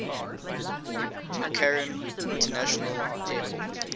mccarran international airport